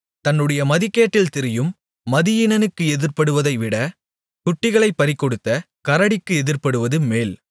தன்னுடைய மதிகேட்டில் திரியும் மதியீனனுக்கு எதிர்ப்படுவதைவிட குட்டிகளைப் பறிகொடுத்த கரடிக்கு எதிர்ப்படுவது மேல்